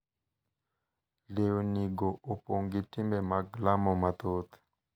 Lewnigo opong’ gi timbe mag lamo mathoth